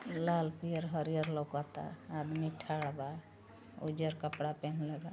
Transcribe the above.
लाल पियर हरिहर लउकता। आदमी ठाड़ बा। उज्जर कपड़ा पहिनले बा।